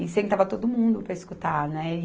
E sentava todo mundo para escutar, né? E